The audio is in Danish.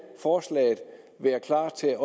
forslaget være klar til